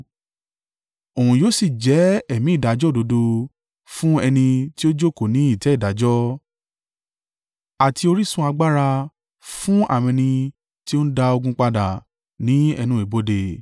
Òun yóò sì jẹ́ ẹ̀mí ìdájọ́ òdodo fún ẹni tí ó jókòó ní ìtẹ́ ìdájọ́ àti orísun agbára fún àwọn ẹni tí ó ń dá ogun padà ní ẹnu ibodè.